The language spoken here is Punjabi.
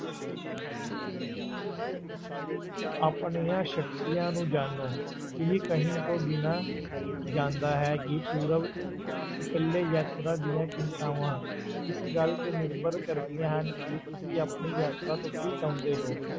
ਆਪਣੀਆਂ ਸ਼ਕਤੀਆਂ ਨੂੰ ਜਾਣੋ, ਇਹ ਕਹਿਣ ਤੋਂ ਬਿਨਾਂ ਜਾਂਦਾ ਹੈ ਕਿ ਪੂਰਬ ਇਕੱਲੇ ਯਾਤਰਾ ਦੀਆਂ ਚਿੰਤਾਵਾਂ, ਇਸ ਗੱਲ ਤੇ ਨਿਰਭਰ ਕਰਦੀਆਂ ਹਨ ਕਿ ਤੁਸੀਂ ਆਪਣੀ ਯਾਤਰਾ ਤੋਂ ਕੀ ਚਾਹੁੰਦੇ ਹੋ,